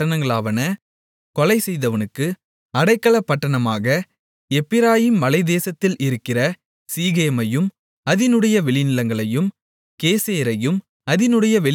கொலைசெய்தவனுக்கு அடைக்கலப்பட்டணமான எப்பிராயீமின் மலைத்தேசத்தில் இருக்கிற சீகேமையும் அதினுடைய வெளிநிலங்களையும் கேசேரையும் அதினுடைய வெளிநிலங்களையும்